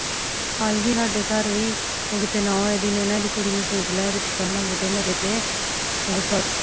ਈ ਸੀ ਸਾਡੇ ਘਰ ਵੀ ਉਹ ਕੀਤੇ ਨੂੰਹ ਏਡੀ ਨੇ ਹਿੰਦੀ ਕੁੜੀ ਨੂੰ ਸੁਤ ਲੈ ਕ ਦਿਤਾ ਹੋਣਾ ਬੁੱਢੇ ਮਾਰੇ ਤੇ